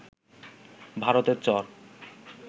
ভারতের চর